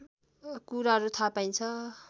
कुराहरू थाहा पाइन्छ